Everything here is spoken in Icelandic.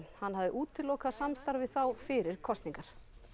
hann hafði útilokað samstarf við þá fyrir kosningar